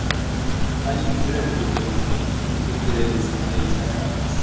táyé isreal lorúkọ ẹni kìnínní èkejì rẹ ní ṣì ń jẹ isiaka afeez